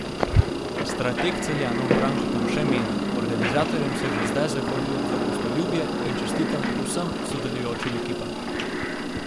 Strateg Celjanov Branko Tamše meni: "Organizatorjem se že zdaj zahvaljujem za gostoljubje in čestitam vsem sodelujočim ekipam.